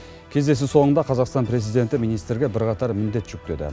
кездесу соңында қазақстан президенті министрге бірқатар міндет жүктеді